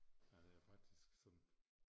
Ja det er faktisk sådan